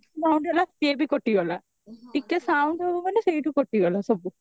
sound ହେଲା ସିଏ ବି କଟିଗଲା ଟିକେ sound ହବ ମାନେ ସେଇଠୁ କଟିଗଲା ସବୁ